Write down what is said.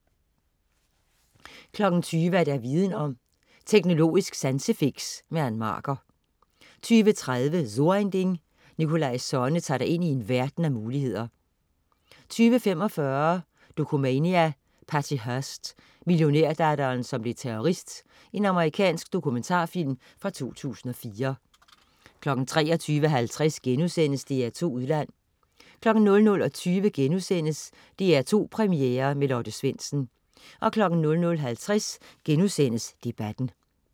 20.00 Viden om: Teknologisk sansefix. Ann Marker 20.30 So ein Ding. Nikolaj Sonne tager dig ind i en verden af muligheder 20.45 Dokumania: Patty Hearst, millionærdatteren som blev terrorist. Amerikansk dokumentarfilm fra 2004 23.50 DR2 Udland* 00.20 DR2 Premiere med Lotte Svendsen* 00.50 Debatten*